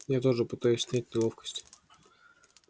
я тоже пытаюсь снять неловкость